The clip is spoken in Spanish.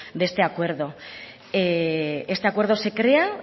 de este acuerdo este acuerdo se crea